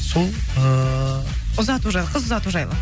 сол ыыы ұзату жайлы қыз ұзату жайлы